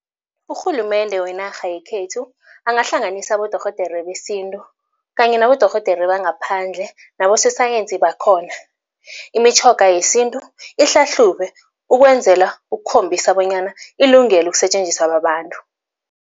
Urhulumende wenarha yekhethu angahlanganisa abodorhodere besintu kanye nabodorhodere bangaphandle nabososayensi bakhona. Imitjhoga yesintu ihlahlubwe ukwenzela ukukhombisa bonyana ilungele ukusetjenziswa babantu.